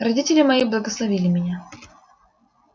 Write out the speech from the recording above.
родители мои благословили меня